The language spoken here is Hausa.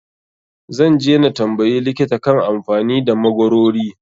Zan je na tambayi likita kan amfanin da magwarori.